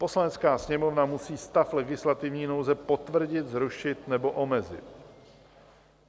Poslanecká sněmovna musí stav legislativní nouze potvrdit, zrušit nebo omezit.